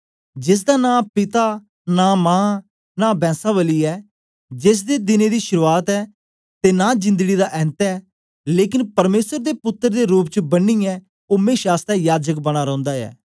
जेसदा नां पिता नां मां नां बैंस्सावली ऐ जेसदे दिनें दी शुरुआत ऐ ते नां जिंदड़ी दा ऐन्त ऐ लेकन परमेसर दे पुत्तर दे रूप च बनियै ओ मेशा आसतै याजक बना रौंदा ऐ